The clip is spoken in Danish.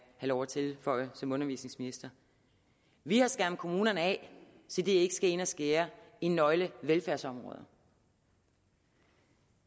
lov at tilføje som undervisningsminister vi har skærmet kommunerne af så de ikke skal ind og skære i nøglevelfærdsområder